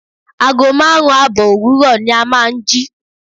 Ago márùn-ún àbọ̀ òwúrò ni a máa ń jí.